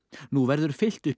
nú verður fyllt upp í